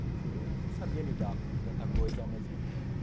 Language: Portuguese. Porque eu não sabia lidar com tanta coisa ao mesmo tempo.